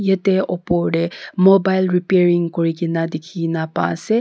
yate opor te mobile repairing kurikena dikhi na pa ase.